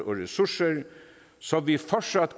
ressourcer så vi fortsat